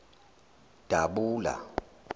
dabula